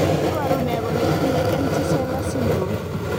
Iporu ne kole itinye Empty sella syndrome?